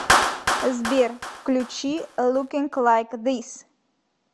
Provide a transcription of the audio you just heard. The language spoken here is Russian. сбер включи лукинг лайк зис